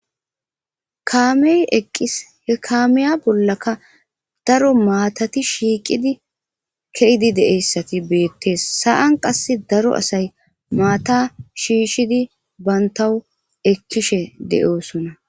kaame eqqis he kaamiya bollaka daro maatati shiiqidi ke7idi de7eyssati beetes;sa7an qassi daro asay maataa shiishidi banttawu ekkishe de7oosona.